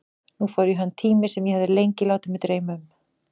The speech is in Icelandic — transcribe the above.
Nú fór í hönd tími sem ég hafði lengi látið mig dreyma um.